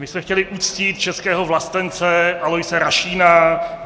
My jsme chtěli uctít českého vlastence Aloise Rašína.